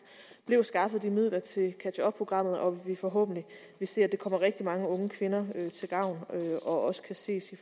blev skaffet de midler til catch up programmet og at vi forhåbentlig ser at det kommer rigtig mange unge kvinder til gavn og også kan ses